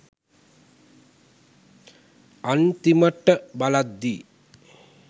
අන්තිමට බලද්දි